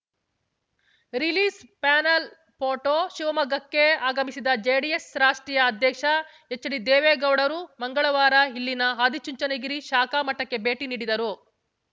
release panel photo ಶಿವಮೊಗ್ಗಕ್ಕೆ ಆಗಮಿಸಿದ ಜೆಡಿಎಸ್‌ ರಾಷ್ಟ್ರೀಯ ಅಧ್ಯಕ್ಷ ಎಚ್‌ಡಿದೇವೇಗೌಡರು ಮಂಗಳವಾರ ಇಲ್ಲಿನ ಆದಿಚುಂಚನಗಿರಿ ಶಾಖಾ ಮಠಕ್ಕೆ ಭೇಟಿ ನೀಡಿದರು